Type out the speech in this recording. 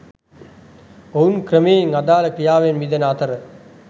ඔවුන් ක්‍රමයෙන් අදාල ක්‍රියාවෙන් මිදෙන අතර